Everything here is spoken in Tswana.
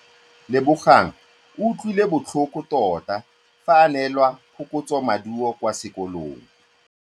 Lebogang o utlwile botlhoko tota fa a neelwa phokotsômaduô kwa sekolong.